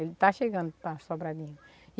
Ele está chegando para Sobradinho.